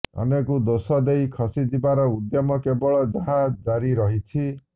ଅନ୍ୟକୁ ଦୋଷଦେଇ ଖସିଯିବାର ଉଦ୍ୟମ କେବଳ ଯାହା ଜାରି ରହିଛି